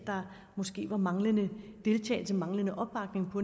måske var manglende deltagelse manglende opbakning på